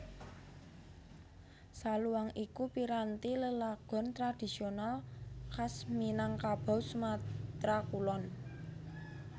Saluang iku piranti lelagon tradhisional khas Minangkabau Sumatra Kulon